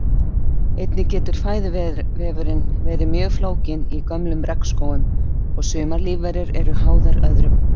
Einnig getur fæðuvefurinn verið mjög flókinn í gömlum regnskógum og sumar lífverur eru háðar öðrum.